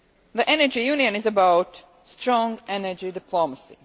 The Energy Union is about strong energy diplomacy.